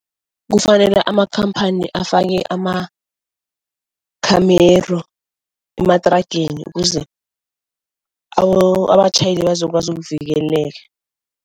Kufanele amakhamphani afake amakhamero emathrageni ukuze abatjhayeli bazokwazi ukuvikeleka.